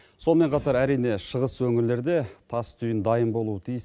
сонымен қатар әрине шығыс өңірлерде тас түйін дайын болуы тиіс